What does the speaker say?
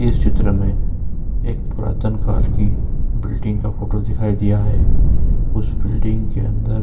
इस चित्र में एक पुरातन काल की बिल्डिंग का फोटो दिखाई दिया है उस बिल्डिंग के अंदर --